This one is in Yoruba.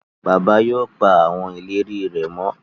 Bàbá yóò pá àwọn ìlérí rè mọ